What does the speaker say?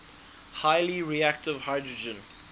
highly reactive hydrogen